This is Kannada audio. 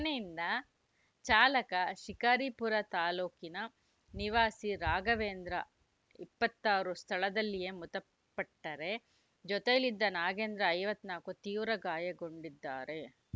ಘಟನೆಯಿಂದ ಚಾಲಕ ಶಿಕಾರಿಪುರ ತಾಲೂಕಿನ ನಿವಾಸಿ ರಾಘವೇಂದ್ರ ಇಪ್ಪತ್ತ್ ಆರು ಸ್ಥಳದಲ್ಲಿಯೇ ಮೃತಪಟ್ಟರೆ ಜೊತೆಯಲ್ಲಿದ್ದ ನಾಗೇಂದ್ರ ಐವತ್ತ್ ನಾಲ್ಕು ತೀವ್ರ ಗಾಯಗೊಂಡಿದ್ದಾರೆ